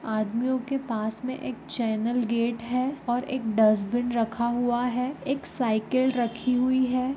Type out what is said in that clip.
आदमियों के पास में एक चैनल गेट है और एक डस्टबिन रखा हुआ है एक साइकिल रखी हुई है।